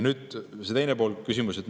Nüüd teine pool teie küsimusest.